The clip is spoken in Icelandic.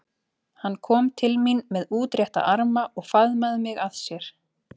Hann kom til mín með útrétta arma og faðmaði mig að sér.